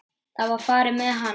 Það var farið með hana.